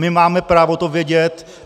My máme právo to vědět.